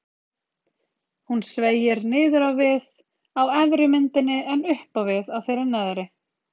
Hún sveigir niður á við á efri myndinni en upp á við á þeirri neðri.